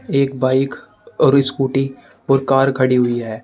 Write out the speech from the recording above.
एक बाइक और स्कूटी और कार खड़ी हुई है।